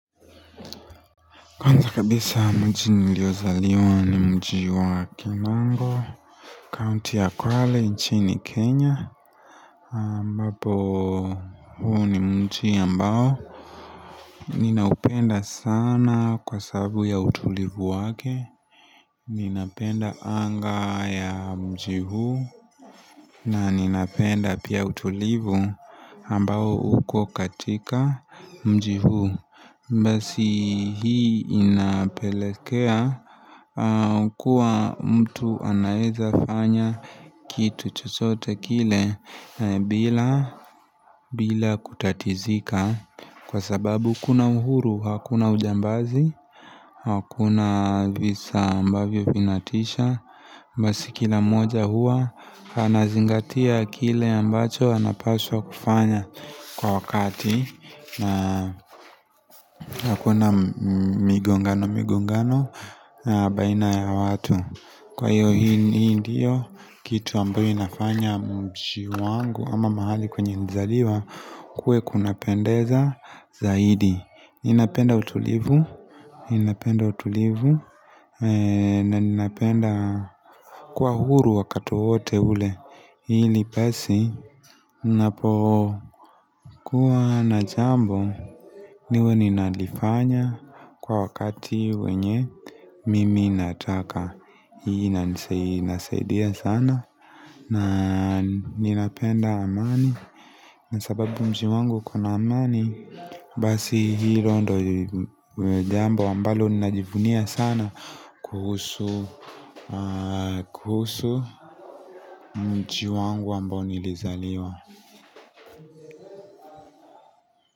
Kwanza kabisa mji niliozaliwa ni mji wa kinongo kaunti ya kwale nchi ni Kenya ambapo huu ni mji ambao ninaupenda sana kwa sababu ya utulivu wake Ninapenda anga ya mji huu na ninapenda pia utulivu ambao uko katika mji huu Mbasi hii inapelekea Kwa mtu anaiza fanya kitu chochote kile bila kutatizika Kwa sababu kuna uhuru, hakuna ujambazi Hakuna visa ambavyo vinatisha Mbasi kila moja hua Hanazingatia kile ambacho anapaswa kufanya Kwa wakati na hakuna migongano migo ngano Baina ya watu Kwa hiyo hiyo diyo kitu ambayo inafanya mshi wangu ama mahali kwenye nzaliwa kue kunapendeza zaidi Inapenda utulivu Inapenda utulivu na inapenda kwa huru wakati wote ule Hii ni pesi Napo kuwa na jambo niwe ninalifanya kwa wakati wenye mimi nataka hii na nisaidia sana na ninapenda amani nasababu mji wangu kona amani Basi hilo ndo jambo ambalo ninajivunia sana kuhusu mchi wangu ambalo nilizaliwa.